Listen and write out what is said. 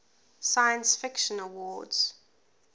science fiction awards